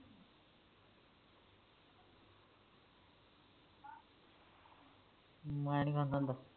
ਮੈਂ ਨੀ ਖਾਂਦਾ ਹੁੰਦਾ